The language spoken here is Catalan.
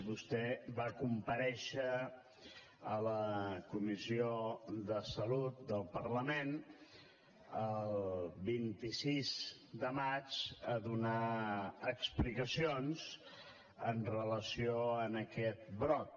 vostè va comparèixer a la comissió de salut del parlament el vint sis de maig a donar explicacions amb relació a aquest brot